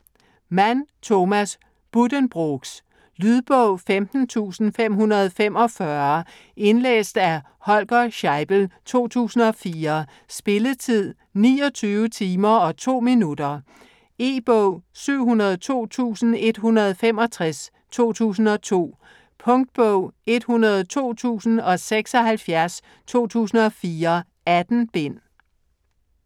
Mann, Thomas: Buddenbrooks Lydbog 14545 Indlæst af Holger Scheibel, 2004. Spilletid: 29 timer, 2 minutter. E-bog 702165 2002. Punktbog 102076 2004. 18 bind.